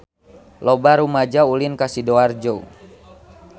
Loba rumaja ulin ka Sidoarjo